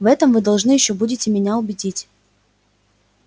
в этом вы должны ещё будете меня убедить